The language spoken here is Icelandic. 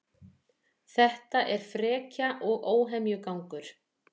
Þetta er frekja og óhemjugangur